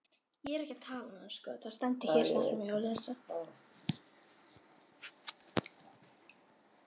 Gunni fór fyrir ljósið.